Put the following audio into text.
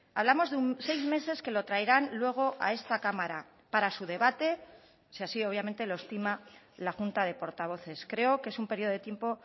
hablamos de seis meses que lo traerán luego a esta cámara para su debate si así obviamente lo estima la junta de portavoces creo que es un periodo de tiempo